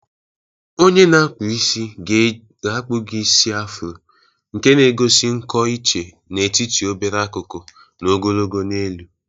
Onye na-akpụ isi ga-akpu gi isi Afro, nke na egosi nkọ iche n'etiti obere akụkụ na ogologo n'elu.